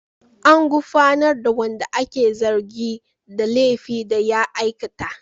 An gurfanar da wanda ake zargi da laifin da ya aikata.